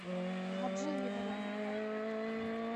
гаджи игоревна